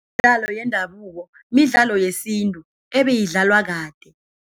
Imidlalo yendabuko, midlalo yesintu ebeyidlalwa kade.